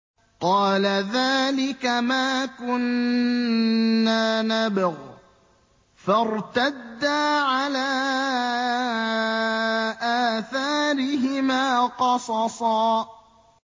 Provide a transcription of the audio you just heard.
قَالَ ذَٰلِكَ مَا كُنَّا نَبْغِ ۚ فَارْتَدَّا عَلَىٰ آثَارِهِمَا قَصَصًا